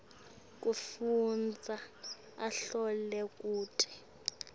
kufundza ahlole kute